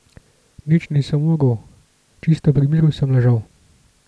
Nič nisem mogel, čisto pri miru sem ležal.